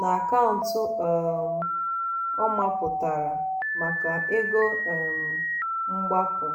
na akaụntụ ọ um mapụtara maka "ego um mgbapu".